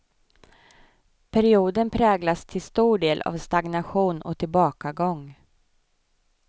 Perioden präglas till stor del av stagnation och tillbakagång.